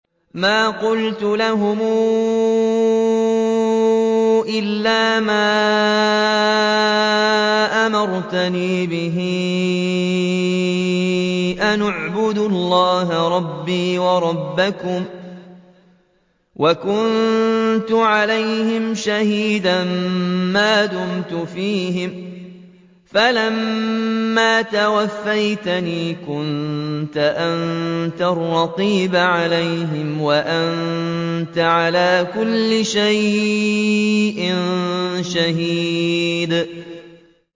مَا قُلْتُ لَهُمْ إِلَّا مَا أَمَرْتَنِي بِهِ أَنِ اعْبُدُوا اللَّهَ رَبِّي وَرَبَّكُمْ ۚ وَكُنتُ عَلَيْهِمْ شَهِيدًا مَّا دُمْتُ فِيهِمْ ۖ فَلَمَّا تَوَفَّيْتَنِي كُنتَ أَنتَ الرَّقِيبَ عَلَيْهِمْ ۚ وَأَنتَ عَلَىٰ كُلِّ شَيْءٍ شَهِيدٌ